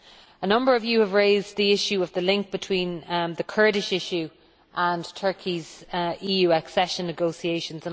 A number of you have raised the issue of the link between the Kurdish issue and Turkey's EU accession negotiations.